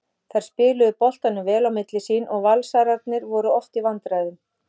Þær spiluðu boltanum vel á milli sín og Valsararnir voru oft í vandræðum.